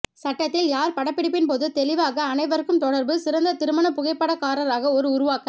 சட்டத்தில் யார் படப்பிடிப்பின் போது தெளிவாக அனைவருக்கும் தொடர்பு சிறந்த திருமண புகைப்படக்காரராக ஒரு உருவாக்க